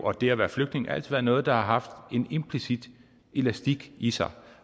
og det at være flygtning altid været noget der har haft en implicit elastik i sig